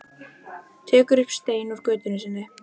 Tekur upp stein úr götu sinni.